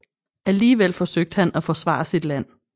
Alligevel forsøgte han at forsvare sit land